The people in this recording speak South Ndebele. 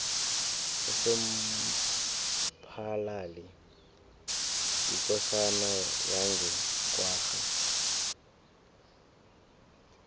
usomphalali yikosana yange kwagga